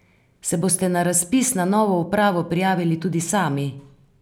Se boste na razpis za novo upravo prijavili tudi sami?